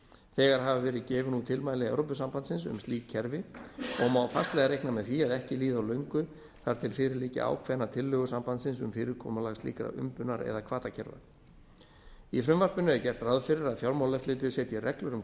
þegar hafa verið gefin út tilmæli evrópusambandsins um slík kerfi og má fastlega reikna með því að ekki líði á löngu þar til fyrir liggi ákveðnar tillögur sambandsins um fyrirkomulag slíkra umbunar eða hvatakerfa í frumvarpinu er gert ráð fyrir að fjármálaeftirlitið setji reglur um